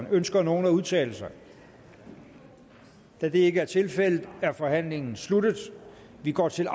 ønsker nogen at udtale sig da det ikke er tilfældet er forhandlingen sluttet vi går til